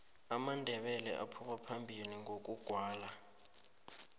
amandebele aphuma phambili ngokugwala